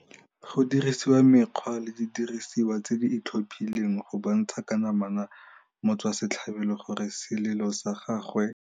Go dirisiwa mekgwa le didirisiwa tse di itlhophileng go bontsha ka namana motswasetlhabelo gore selelo sa gagwe